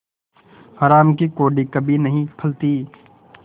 हराम की कौड़ी कभी नहीं फलती